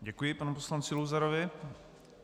Děkuji panu poslanci Luzarovi.